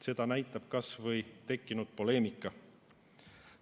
Seda näitab kas või tekkinud poleemika.